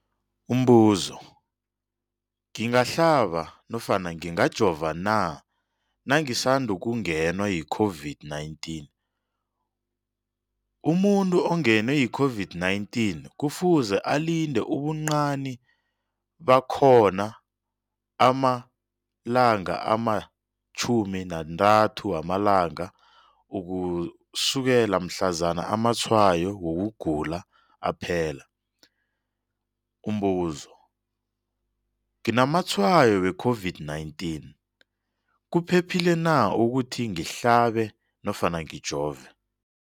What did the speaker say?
Umbuzo, ngingahlaba nofana ngingajova na nangisandu kungenwa yi-COVID-19? Umuntu ongenwe yi-COVID-19 kufuze alinde ubuncani bakhona ama-30 wama langa ukusukela mhlazana amatshayo wokugula aphela. Umbuzo, nginamatshayo we-COVID-19, kuphephile na ukuthi ngihlabe nofana ngijove?